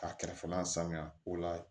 Ka kɛrɛfɛ n'a sanuya o la